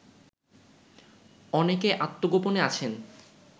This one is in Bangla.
অনেকে আত্মগোপনে আছেন